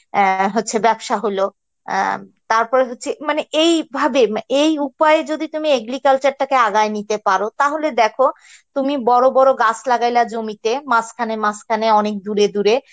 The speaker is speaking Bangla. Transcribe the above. অ্যাঁ হচ্ছে বেবসা হলো অ্যাঁ তারপরে হচ্ছে মানে এই ভাবে এই উপায় যদি তুমি agriculture টা কে আগায়ে নিতে পারো তাহলে দেখো তুমি বড় বড় গাছ লাগাইলা জমিতে মাঝখানে মাঝখানে অনেক দূরে দূরে